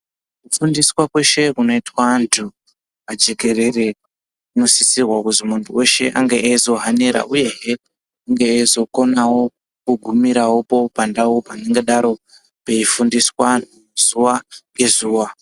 Kufundiswa kweshe kunoitwa antu pajekerere kunosisirwa kuzi muntu weshe ange eizohanira. Uyehe ange eizokonawo kugumirawopo pandau panengadaro peifundiswa antu zuwa ngezuwa.